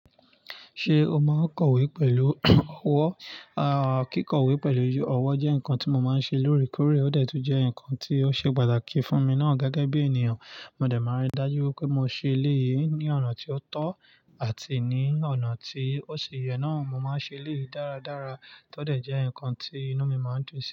Ṣé o máa ń kọ̀wé pẹ̀lú ọwọ́? Aàh, kíkọ̀wé pẹ̀lú ọwọ́ jẹ́ nǹkan tí mo máa ń ṣe lóòrèkóòrè, ó de tun jẹ́ nǹkan tí ó ṣe pàtàkì fún mi náà gẹ́gẹ́ bí ènìyàn. Mo de máa ń rí i dájú pé mo ṣe eleyii ní ọ̀nà tí ó tọ́ àti ní ọ̀nà tí ó ṣi yẹ náà. Mo máa ń ṣe eléyiì dáradára tọ́ dẹ̀ jẹ́ nǹkan tí inú mi máa ń dùn sí.